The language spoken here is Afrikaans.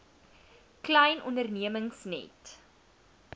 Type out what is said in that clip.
klein ondernemings net